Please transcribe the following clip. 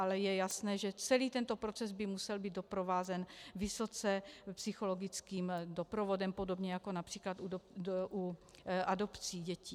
Ale je jasné, že celý tento proces by musel být doprovázen vysoce psychologickým doprovodem, podobně jako například u adopcí dětí.